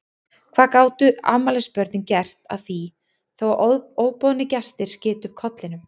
Hvað gátu afmælisbörnin gert að því þó að óboðnir gestir skytu upp kollinum?